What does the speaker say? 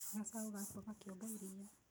Gacaũ gakua gakĩonga iria